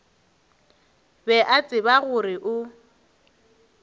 be a tseba gore o